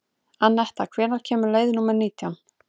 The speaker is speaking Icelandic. Anetta, hvenær kemur leið númer nítján?